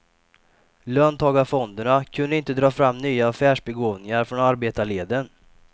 Löntagarfonderna kunde inte dra fram nya affärsbegåvningar från arbetarleden.